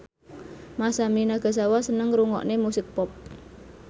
Masami Nagasawa seneng ngrungokne musik pop